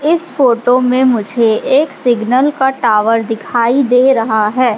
इस फोटो में मुझे एक सिग्नल का टावर दिखाई दे रहा है।